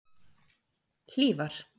Hlífar